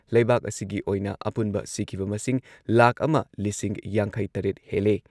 ꯂꯩꯕꯥꯛ ꯑꯁꯤꯒꯤ ꯑꯣꯏꯅ ꯑꯄꯨꯟꯕ ꯁꯤꯈꯤꯕ ꯃꯁꯤꯡ ꯂꯥꯈ ꯑꯃ ꯂꯤꯁꯤꯡ ꯌꯥꯡꯈꯩ ꯇꯔꯦꯠ ꯍꯦꯜꯂꯦ ꯫